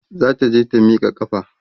zata je ta Mika ƙafa